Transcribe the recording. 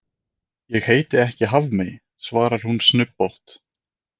Ég heiti ekki Hafmey, svarar hún snubbótt.